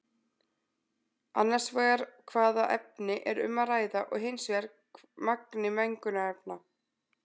Annars vegar hvaða efni er um að ræða og hins vegar magni mengunarefna.